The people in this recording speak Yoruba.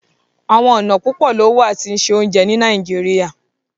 Àwọn ọna púpọ̀ lo wà tí ṣé ọ̀unjẹ ni Nàìjíríà